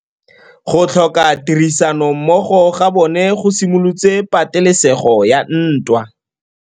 Go tlhoka tirsanommogo ga bone go simolotse patêlêsêgô ya ntwa.